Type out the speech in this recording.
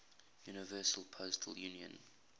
universal postal union